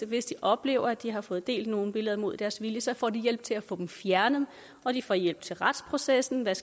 hvis de oplever at de har fået delt nogle billeder mod deres vilje så får de hjælp til at få dem fjernet og de får hjælp til retsprocessen med